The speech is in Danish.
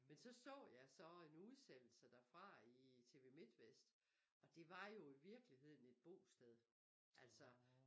Men så så jeg så en udsendelse derfra i tv midtvest og det var jo i virkeligheden et bosted altså